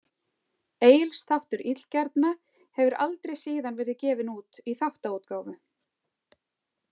Egils þáttur illgjarna hefur aldrei síðan verið gefinn út í þáttaútgáfu.